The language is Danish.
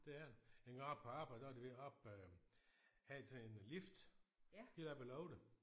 Det er den engang oppe på arbejde der var de ved oppe hen til en lift helt oppe i loftet